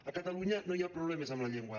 a catalunya no hi ha problemes amb la llengua